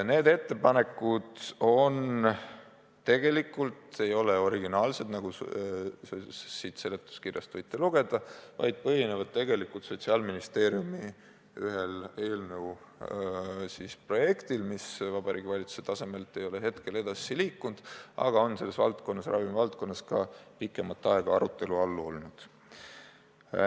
Need ettepanekud tegelikult ei ole originaalsed, nagu te siit seletuskirjast võite lugeda, vaid põhinevad ühel Sotsiaalministeeriumi eelnõu projektil, mis Vabariigi Valitsuse tasemelt ei ole edasi liikunud, aga on valdkonnas pikemat aega arutelu all olnud.